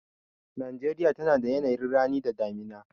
Najeriya tana da yanayin rani da damina.